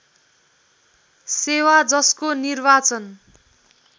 सेवा जसको निर्वाचन